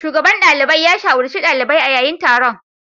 Shugaban dalibai ya shawarci dalibai a yayin taron.